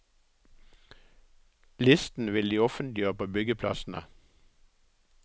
Listen vil de offentliggjøre på byggeplassene.